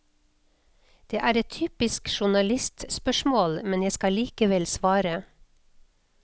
Det er et typisk journalistspørsmål, men jeg skal likevel svare.